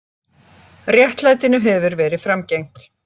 Réttlætinu hefur verið framgengt.